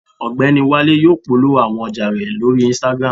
Ọgbẹni Wale yóò polowo awọn ọja rẹ lori Instagram